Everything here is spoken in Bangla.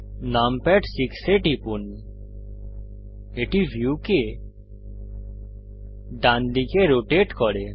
নামপ্যাড 6 এ টিপুন এটি ভিউকে ডান দিকে রোটেট করে